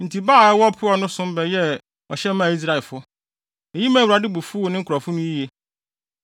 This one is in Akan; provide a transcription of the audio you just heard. Enti Baal a ɛwɔ Peor no som bɛyɛɛ ɔhyɛ maa Israelfo. Eyi maa Awurade bo fuw ne nkurɔfo no yiye.